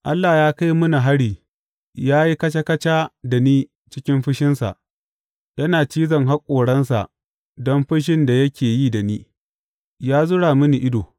Allah ya kai mini hari ya yi kaca kaca da ni cikin fushinsa yana cizon haƙoransa don fushin da yake yi da ni; ya zura mini ido.